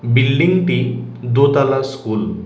বিল্ডিংটি দোতলা স্কুল ।